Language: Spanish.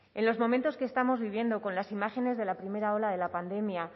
en los momentos que estamos viviendo con las imágenes de la primera ola de la pandemia